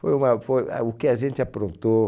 Foi uma foi ah o que a gente aprontou.